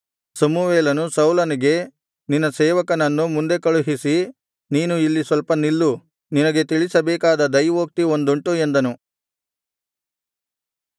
ಸಮುವೇಲನು ಸೌಲನಿಗೆ ನಿನ್ನ ಸೇವಕನನ್ನು ಮುಂದೆ ಕಳುಹಿಸಿ ನೀನು ಇಲ್ಲಿ ಸ್ವಲ್ಪ ನಿಲ್ಲು ನಿನಗೆ ತಿಳಿಸಬೇಕಾದ ದೈವೋಕ್ತಿ ಒಂದುಂಟು ಎಂದನು